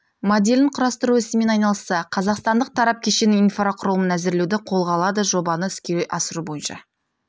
моделін құрастыру ісімен айналысса қазақстандық тарап кешеннің инфрақұрылымын әзірлеуді қолға алады жобаны іске асыру бойынша